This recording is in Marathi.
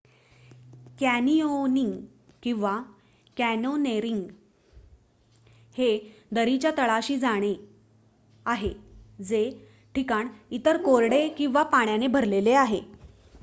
कॅनिओनिंग किंवा: कॅन्योनेरिंग हे दरीच्या तळाशी जाणे आहे जे ठिकाण एकतर कोरडे किंवा पाण्याने भरलेले आहे